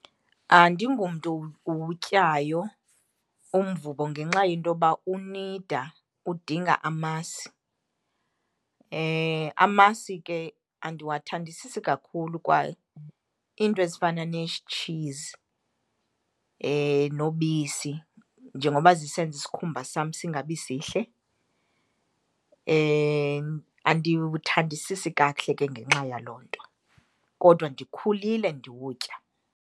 Andingomntu uwutyayo umvubo ngenxa yentoba unida, udinga amasi. Amasi ke andiwathandisisi kakhulu, kwa iinto ezifana tshizi nobisi njengoba zisenza isikhumba sam singabisihle. Andiwuthandisisi kakuhle ke ngenxa yaloo nto kodwa ndikhulile ndiwutya.